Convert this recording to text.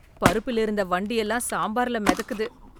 பருப்புலிருந்த வண்டு எல்லாம் சாம்பார்ல மிதக்குது